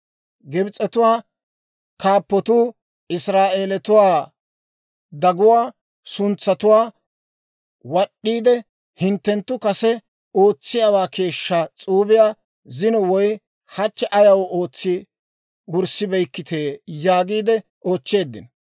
Gibs'etuwaa kaappotuu Israa'eeletuwaa daguwaa suntsatuwaa wad'd'iide, «Hinttenttu kase ootsiyaawaa keeshshaa s'uubiyaa zino woy hachche ayaw ootsi wurssibeykkitee?» yaagiide oochcheeddino.